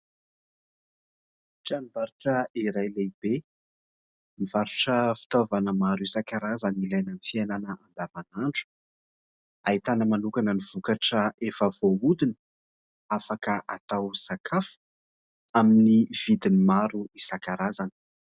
Tranom-barotra iray lehibe, mivarotra fitaovana maro isankarazany ilainana amin'ny fiainana andavanandro. Ahitana manokana ny vokatra efa voahodina, afaka atao sakafo ; amin'ny vidiny maro isankarazany.